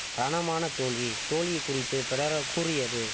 ரணமான தோல்வி தோல்வி குறித்து பெடரோ கூறியது